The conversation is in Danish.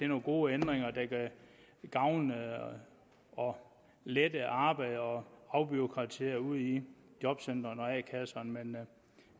nogle gode ændringer der kan gavne og lette arbejdet og afbureaukratisere ude i jobcentrene og a kasserne men